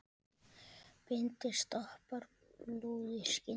Bindi stoppar blóð í skyndi.